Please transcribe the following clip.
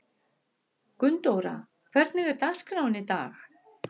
Gunndóra, hvernig er dagskráin í dag?